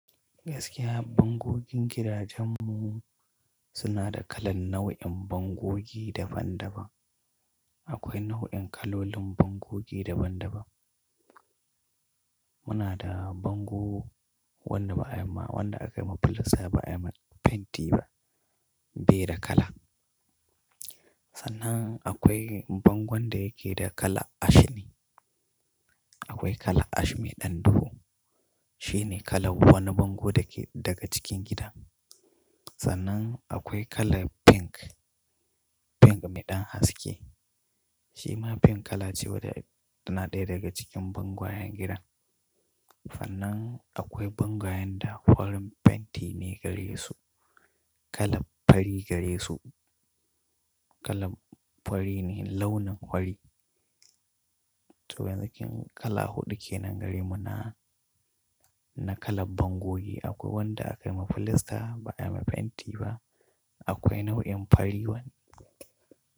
Gaskiya bangogin gidajen mu suna da kalan nau'in bangogi daban-daban. Akwai nau'in kalolin bangogi daban-daban. Muna da bango wanda ba ayamma wanda aka yi ma filasta ba ayi ma fenti ba, beyi da kala. Sannan akwai bango wanda yake da kala ash ne. Akwai kala ash mai ɗan duhu. Shi ne kalan wani bango da ke daga cikin gida. Sannan akwai kala pink, pink mai ɗan haske. Shi ma pink kala ce wadda tana ɗaya daga cikin bangoyan gidan. Sannan akwai bangoyan da farin fenti ne gare su. Kala fari gare su. Kala fari ne launin fari. To wanzakin kala huɗu ke nan gare mu na, na kala bangogi. Akwai wanda aka yi ma filasta ba ayi ma fenti ba. Akwai nau'in fari wani.